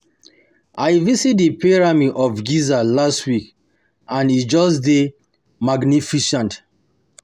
I visit the pyramid of Giza last week and e just dey magnificent